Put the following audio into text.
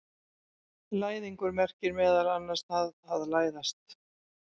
Læðingur merkir meðal annars það að læðast.